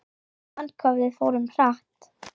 Man hvað við fórum hratt.